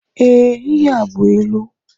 Ee, ihe a bú ịlụ